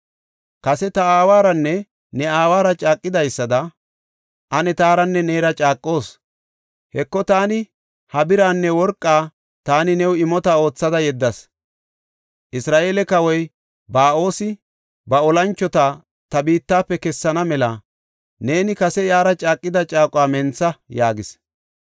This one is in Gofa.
“Kase ta aawaranne ne aawara caaqidaysada, ane taaranne neera caaqoos. Heko, taani ha biraanne worqaa taani new imota oothada yeddas. Isra7eele kawoy Ba7oosi ba olanchota ta biittafe kessana mela neeni kase iyara caaqida caaquwa mentha” yaagis.